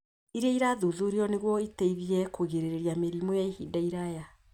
iria irathuthurio nĩguo iteithie kũgirĩrĩria mĩrimũ ya ihinda iraya.